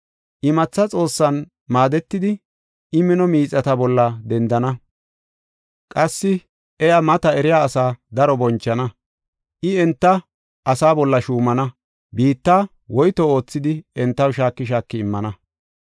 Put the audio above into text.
Imatha xoossan maadetidi, I mino miixata bolla dendana. Qassi iya maata eriya asaa daro bonchana. I enta, asaa bolla shuumana; biitta woyto oothidi entaw shaaki shaaki immana.